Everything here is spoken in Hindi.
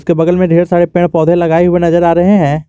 के बगल में ढेर सारे पेड़ पौधे लगाए हुए नजर आ रहे है।